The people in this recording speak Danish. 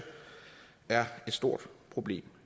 er et stort problem